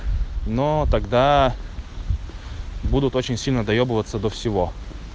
но тогда будут очень сильно доёбываться до всего